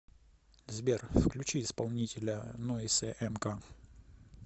сбер включи исполнителя нойз эмси